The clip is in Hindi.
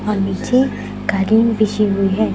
और नीचे कालीन बिछी हुई है।